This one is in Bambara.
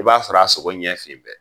I b'a sɔrɔ a sogo ɲɛ finnen bɛ.